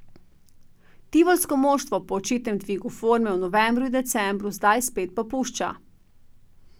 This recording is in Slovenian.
Tivolsko moštvo po očitnem dvigu forme v novembru in decembru zdaj spet popušča.